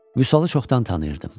Vüsalı çoxdan tanıyırdım.